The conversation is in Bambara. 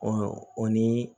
Ɔ o ni